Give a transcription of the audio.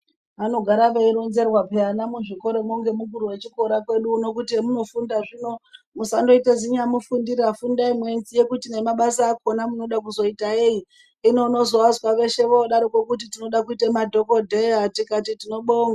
Vanogara veironzerwa peya ana muzvikoramwo ngemukuru wechikora kwedu uno kuti hemunofunda zvino musandoita zinyamufundira fundai mweiziya kuti nebasa akona munoda kuzoita enyi, hino unozoazwa veshe voodaroko kuti tinode kuite madhokodheya tikati tinobonga.